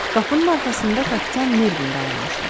Qapının arxasında kapitan Mervin dayanmışdı.